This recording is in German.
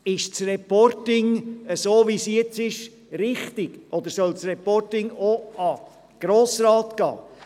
Ist das Reporting in der jetzigen Form richtig, oder soll das Reporting auch an den Grossen Rat gehen?